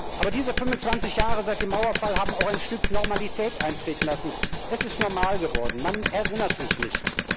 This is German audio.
Aber diese 25 Jahre seit dem Mauerfall haben auch ein Stück Normalität eintreten lassen Es ist normal geworden, man erinnert sich nicht.